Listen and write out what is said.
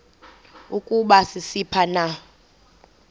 ukuba sisiphi na